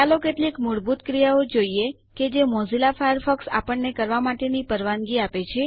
ચાલો કેટલીક મૂળભૂત ક્રિયાઓ જોઈએ કે જે મોઝીલા ફાયરફોક્સ આપણને કરવા માટે પરવાનગી આપે છે